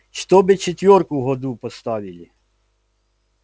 чтобы четвёрку в году поставили